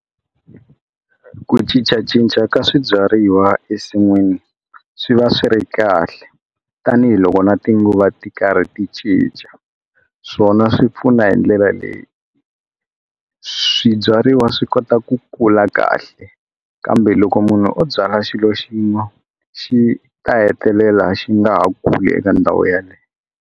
Ku cincacinca ka swibyariwa esin'wini swi va swi ri kahle tanihiloko na tinguva ti karhi ti cinca swona swi pfuna hi ndlela leyi swibyariwa swi kota ku kula kahle kambe loko munhu o byala xilo xin'we xi ta hetelela xi nga ha kuli eka ndhawu yaleyo.